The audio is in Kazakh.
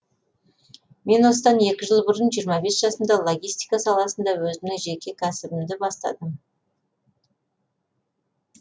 мен осыдан екі жыл бұрын жиырма бес жасымда логистика саласында өзімнің жеке кәсібімді бастадым